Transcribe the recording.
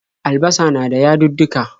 Albasa na da yadudduka.